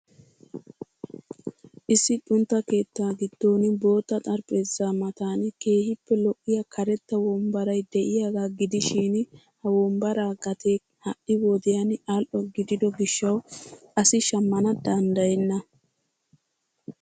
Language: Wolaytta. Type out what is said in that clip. Issi xuntta keettaa gidon bootta xaraphpheezza matan keehippe lo'iya karetta wombbaray de'iyaagaa gidishshin ha wombbaraa gatee ha'i wodiyaan a'l'o gidido gishshawu asi shamana dandayenna.